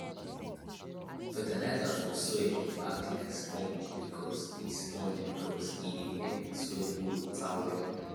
fertilizers for soil dey act like sponge because e sponge because e dey help the soil hold water well